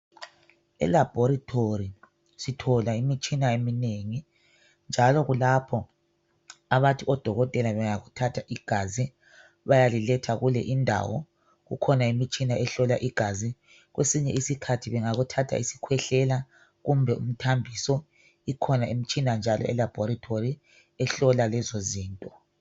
Elabhorithori sithola imtshina eminengi njalo kulapho abathi odokotela bengakuthatha igazi bayaliletha kule indawo kukhona umtshina ehlola igazi kwesinye isikhathi bengakuthatha isikhwehlela kumbe imthambiso ikhona imitshina njalo elabhorithori ehlola lezozinto.